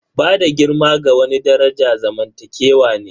Bada girma ga wani daraja zamantakewa ne.